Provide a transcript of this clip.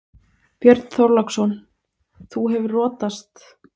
Björn Þorláksson: Þú hefur rotast?